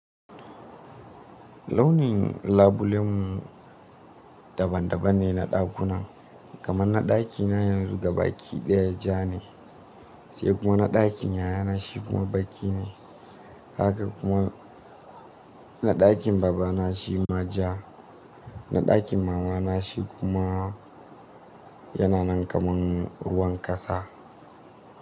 Launin labulen mu, daban daban ne na dakunan. Kaman na daki na yanzu ga baki daya ja ne, sai kuma na dakin yayana shi kuma baki ne. Haka kuma na dakin baba na shi ma ja. Na dakin mama na shi kuma yana nan kaman ruwan kasa.